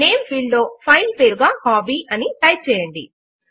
name field లో file పేరుగా hobby అని టైప్ చేయండి